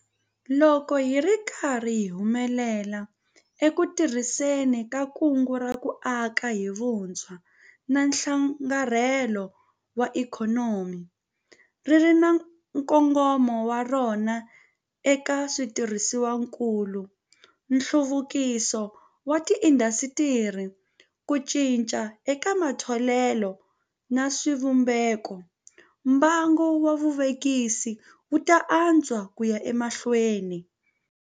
Loko hi ri karhi hi humelela eku tirhiseni ka Kungu ra ku Aka hi Vutshwa na Nhlakarhelo wa Ikhonomi - ri ri na nkongomo wa rona eka switirhisiwakulu, nhluvukiso wa tiindasitiri, ku cinca eka matholelo na swivumbeko - mbangu wa vuvekisi wu ta antswa ku ya emahlweni.